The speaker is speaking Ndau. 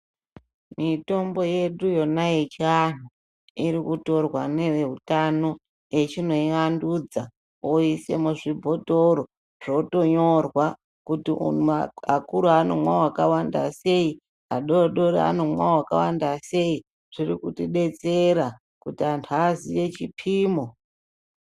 Mitombo yedu yona ye chianhu iri kutorwa ne veutano echino iwandudza oise mu zvibhotoro zvoto nyorwa kuti umu akuru anomwa waka wanda sei adodori anomwa wakawanda sei zviri kuti detsera kuti antu aziye chipimo.